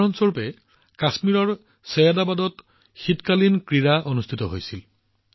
উদাহৰণ স্বৰূপে কাশ্মীৰৰ চৈয়দাবাদত শীতকালীন ক্ৰীড়াৰ আয়োজন কৰা হৈছিল